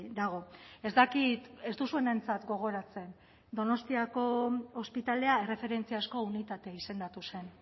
dago ez dakit ez duzuenentzat gogoratzen donostiako ospitalea erreferentziaasko unitate izendatu zen